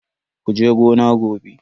Kuje gona gobe.